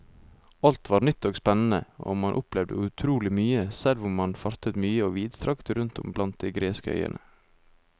Alt var nytt og spennende og man opplevde utrolig mye, selv om man fartet mye og vidstrakt rundt om blant de greske øyene.